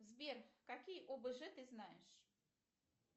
сбер какие обж ты знаешь